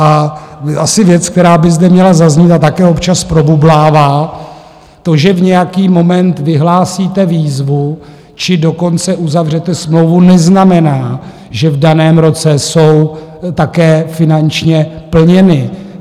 A asi věc, která by zde měla zaznít a také občas probublává, to, že v nějaký moment vyhlásíte výzvu, či dokonce uzavřete smlouvu, neznamená, že v daném roce jsou také finančně plněny.